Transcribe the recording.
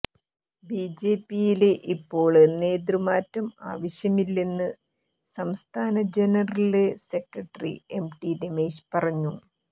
ബിജെപിയില് ഇപ്പോള് നേതൃമാറ്റം ആവശ്യമില്ലെന്ന് സംസ്ഥാന ജനറല് സെക്രട്ടറി എംടി രമേശ് പറഞ്ഞു